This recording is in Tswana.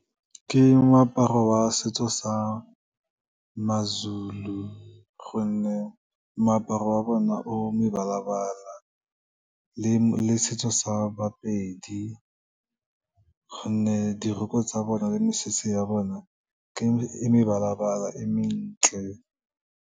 Ke moaparo wa setso sa maZulu, gonne moaparo wa bona o mebala-bala le setso sa baPedi, gonne dirokko tsa bona le mesese ya bona e mebala-bala e mentle.